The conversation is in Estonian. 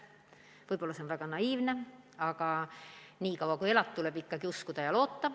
Võib-olla see on väga naiivne, aga nii kaua, kui elad, tuleb ikkagi uskuda ja loota.